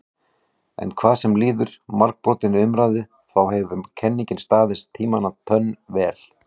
En hvað sem líður margbrotinni umræðu þá hefur kenningin staðist tímans tönn vel.